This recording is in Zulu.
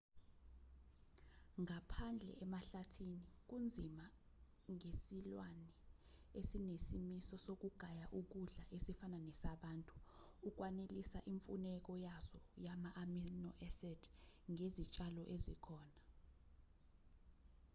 ngaphandle emahlathini kunzima ngesilwane esinesimiso sokugaya ukudla esifana nesabantu ukwanelisa imfuneko yaso yama-amino-acid ngezitshalo ezikhona